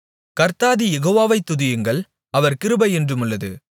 கர்த்தாதி யெகோவாவை துதியுங்கள் அவர் கிருபை என்றுமுள்ளது